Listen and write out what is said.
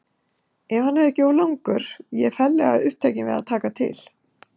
Ef hann er ekki of langur, ég er ferlega upptekin við að taka til.